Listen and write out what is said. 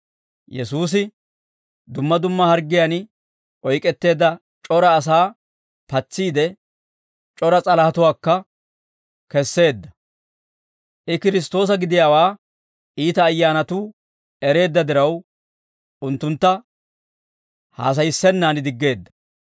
Yesuusi dumma dumma harggiyaan oyk'etteedda c'ora asaa patsiide, c'ora s'alahatuwaakka kesseedda. I Kiristtoosa gidiyaawaa iita ayyaanatuu ereedda diraw, unttuntta haasayissennaan diggeedda.